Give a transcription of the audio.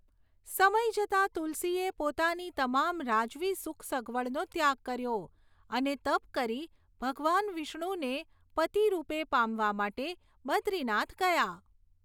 સમય જતાં, તુલસીએ પોતાની તમામ રાજવી સુખસગવડનો ત્યાગ કર્યો અને તપ કરી ભગવાન વિષ્ણુને પતિ રૂપે પામવા માટે બદ્રીનાથ ગયા.